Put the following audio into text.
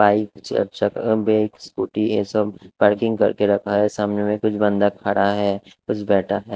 Bike scooty है सब parking कर के रखा है सामने मै कुछ बंद खड़ा है कुछ बैठा है।